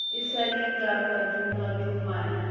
e sa le ka madungwadungwana